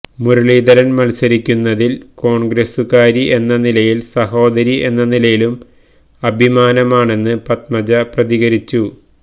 മുരളീധരന് മത്സരിക്കുന്നതില് കോണ്ഗ്രസുകാരി എന്ന നിലയിലും സഹോദരി എന്ന നിലയിലും അഭിമാനമാണെന്ന് പത്മജ പ്രതികരിച്ചു